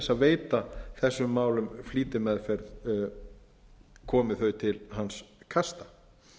veita þessum málum flýtimeðferð komi þau til hans kasta